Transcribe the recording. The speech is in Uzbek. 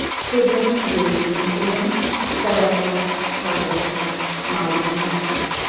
Sudralib yuruvchining o‘limi sabablari hozircha ma’lum emas.